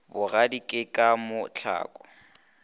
bogadi ke ka mo tlhalo